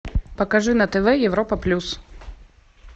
покажи на тв европа плюс